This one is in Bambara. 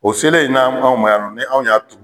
O selen na anw ma yanɔ anw y'a turu.